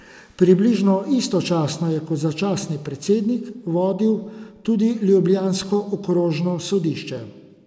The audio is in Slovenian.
Približno istočasno je kot začasni predsednik tudi vodil ljubljansko okrožno sodišče.